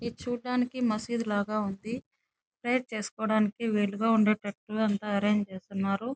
ఇది చూడటానికి మసీద్ లాగా ఉంది ప్రేయర్ చేసుకోవడానికి వీలుగా ఉండేటట్టు అంత ఆరెంజ్ చేసి ఉన్నారు.